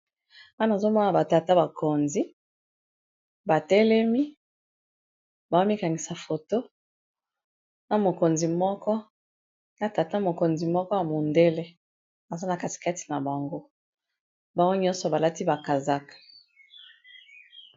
wana azomona batata bakonzi batelemi baomikangisa foto na tata mokonzi moko ya mondele aza na katikati na bango bango nyonso balati bakasak